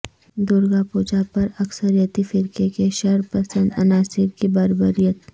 درگا پوجا پر اکثریتی فرقہ کے شر پسند عناصر کی بربریت